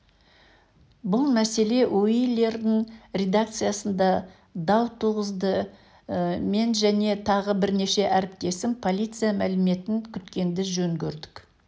бұл мәселе уилердің редакциясында дау туғызды мен және тағы бірнеше әріптесім полиция мәліметін күткенді жөн көрдік